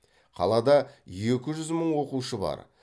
қалада екі жүз мың оқушы бар